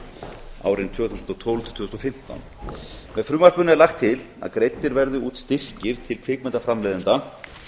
kvikmyndamenningu árin tvö þúsund og tólf til tvö þúsund og fimmtán með frumvarpinu er lagt til að greiddir verði út styrkir til kvikmyndaframleiðenda